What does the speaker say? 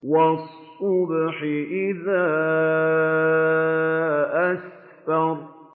وَالصُّبْحِ إِذَا أَسْفَرَ